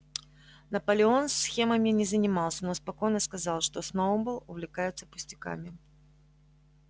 наполеон схемами не занимался но спокойно сказал что сноуболл увлекается пустяками